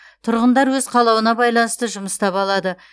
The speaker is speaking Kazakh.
тұрғындар өз қалауына байланысты жұмыс таба алады